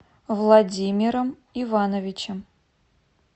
владимиром ивановичем